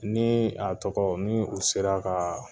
Ni a tɔgɔ ni u sera ka